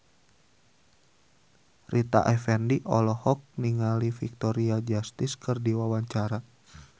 Rita Effendy olohok ningali Victoria Justice keur diwawancara